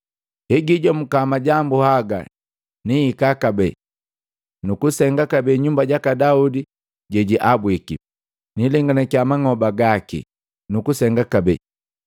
“Hegijomuka majambu haga nihika kabee, nukusenga kabee nyumba jaka Daudi jejiabwiki, niilenganakia mang'oba gaki nukusenga kabee,